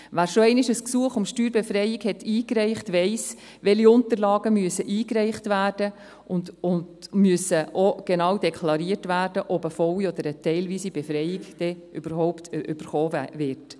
Wer schon einmal ein Gesuch um Steuerbefreiung eingereicht hat, weiss, welche Unterlagen eingereicht werden müssen, und es muss auch klar sein, ob eine volle oder teilweise Befreiung vorliegt.